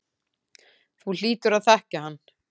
Þú hlýtur að þekkja hann.